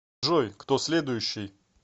джой кто следующий